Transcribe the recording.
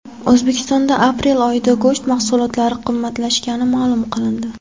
O‘zbekistonda aprel oyida go‘sht mahsulotlari qimmatlashgani ma’lum qilindi.